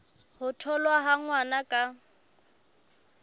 ho tholwa ha ngwana ka